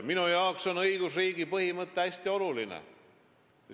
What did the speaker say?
Minu jaoks on õigusriigi põhimõte hästi oluline.